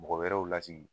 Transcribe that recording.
Mɔgɔ wɛrɛw lasigi